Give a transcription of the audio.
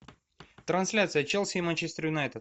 трансляция челси и манчестер юнайтед